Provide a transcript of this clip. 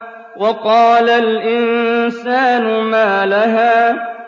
وَقَالَ الْإِنسَانُ مَا لَهَا